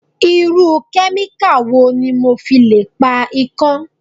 Irú kẹ́míkà wo ni mo fi le pa ikán?